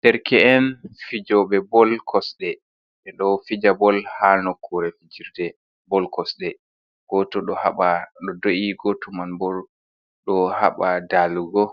Derke'en fijoɓe bol kosɗe ɓe ɗo fija bol ha nokkure fijirde bol kosɗe, goto ɗo do’i, goto man bo ɗo haɓa dalugo